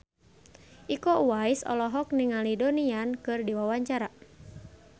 Iko Uwais olohok ningali Donnie Yan keur diwawancara